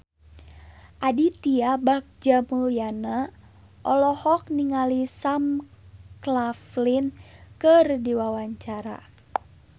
Aditya Bagja Mulyana olohok ningali Sam Claflin keur diwawancara